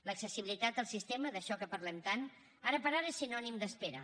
l’accessibilitat al sistema això de què parlem tant ara per ara és sinònim d’espera